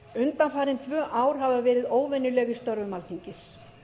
undanfarin tvö ár hafa verið óvenjuleg í störfum alþingis